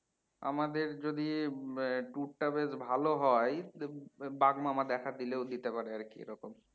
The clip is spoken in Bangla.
আমাদের যদি tour টা বেশ ভালো হয় বাঘমামা দেখা দিলেও দিতে পারে আর কি এরকম